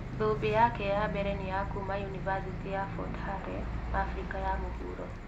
Thũmbĩ yake ya mbere nĩ ya kuma yunivasĩtĩ ya Fort Hare, Afrika ya mũhuro.